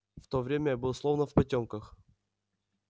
в то время я был словно в потёмках